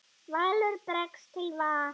Valur bregst til va